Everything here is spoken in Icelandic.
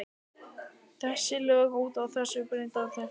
Þessi lög ganga út frá því sem börnum er talið fyrir bestu.